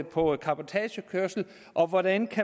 på cabotagekørsel og hvordan